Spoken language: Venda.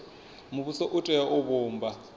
muvhuso u tea u vhumba